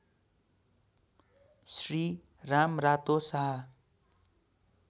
Shri Ramrato Shah